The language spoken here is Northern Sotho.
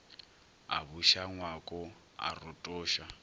a buša ngwako a rotoša